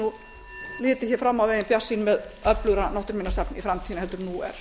nú litið hér fram á veginn bjartsýn með öflugra náttúruminjasafn í framtíðinni heldur en nú er